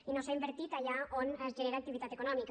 i no s’ha invertit allà on es genera activitat econòmica